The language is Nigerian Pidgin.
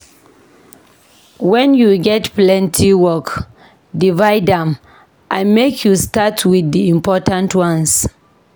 Wen you get plenty work, divide am and make you start wit di important ones.